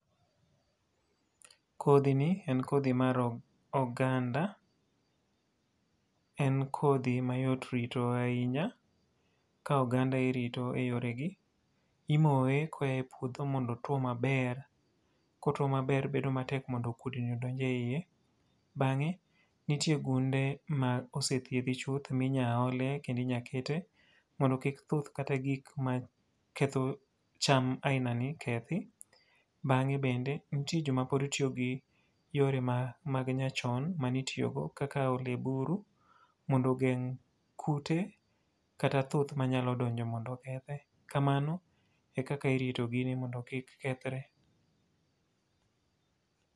Kodhi ni en kodhi mar oganda. En kodhi ma yot rito ahinya. Ka oganda irito e yore gi, imoye ka oa e puodho modo otwo maber. Kotwo maber bedo matek mondo kudni odonj e iye. Bangé, nitie gunde ma osethiedhi chuth, minya ole kendo inya kete, mondo kik thuth kata gik ma ketho cham aina ni kethi. Bangé bende, nitie joma pod tiyo gi yore ma mag nyachon, manitiyogo kaka ole buru, mondo ogeng' kute kata thuth manya donjo mondo okethe. Kamano e kaka irito gini mondo kik kethre.